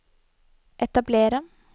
etablere